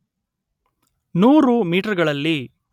ನೂರು ಮೀಟರ್‌ಗಳಲ್ಲಿ